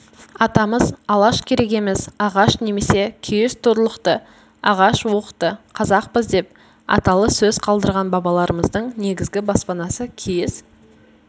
атамыз алаш керегеміз ағаш немесе киіз туырлықты ағаш уықты қазақпыз деп аталы сөз қалдырған бабаларымыздың негізгі баспанасы киіз